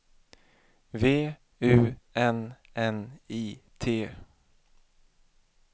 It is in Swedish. V U N N I T